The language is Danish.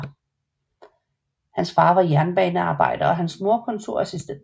Hans far var jernbanearbejder og hans mor kontorassistent